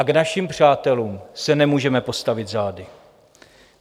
A k našim přátelům se nemůžeme postavit zády.